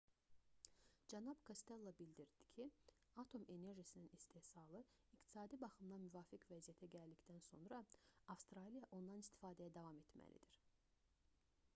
cənab kostello bildirdi ki atom enerjisinin istehsalı iqtisadi baxımdan müvafiq vəziyyətə gəldikdən sonra avstraliya ondan istifadəyə davam etməlidir